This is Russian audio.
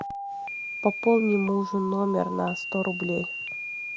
пополни мужу номер на сто рублей